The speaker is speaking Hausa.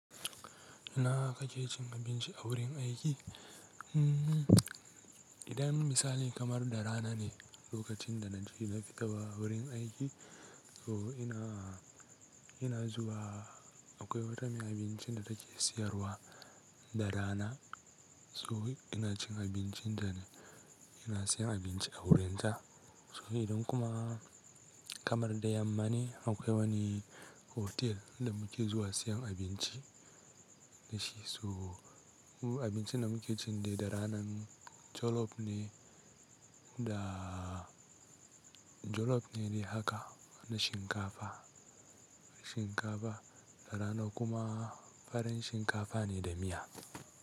Ina kake cin abinci a wurin aiki. Idan misali kamar da rana ne lokacin da naje na fita wurin aiki, so ina, ina zuwa akwai wata mai abincin da take siyarwa da rana. So ina cin abincin tane, ina siyan abinci a wurin ta. So idan kuma kamar da yamma ne akwai wani otel da muke zuwa siyan abinci da shi. So abincin da muke cin da rana jolof ne da. Jolof ne daiaka na shinkafa, shinkafa da rana kuma farin shinkafa ne da miya.